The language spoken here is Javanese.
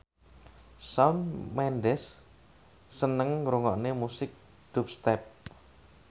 Shawn Mendes seneng ngrungokne musik dubstep